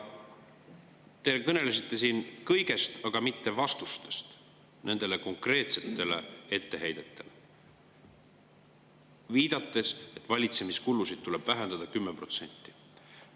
Te kõnelesite siin kõigest, aga mitte vastustest nendele konkreetsetele etteheidetele, viidates, et valitsemiskulusid tuleb vähendada 10%.